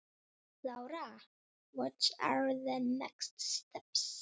Lára: Hver eru næstu skerf?